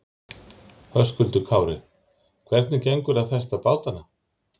Höskuldur Kári: Hvernig gengur að festa bátana?